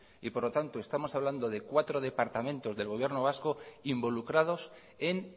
y por lo tanto estamos hablando de cuatro departamentos del gobierno vasco involucrados en